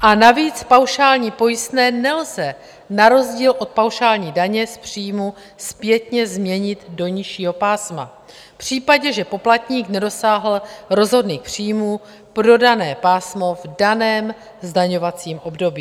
A navíc paušální pojistné nelze na rozdíl od paušální daně z příjmu zpětně změnit do nižšího pásma v případě, že poplatník nedosáhl rozhodných příjmů pro dané pásmo v daném zdaňovacím období.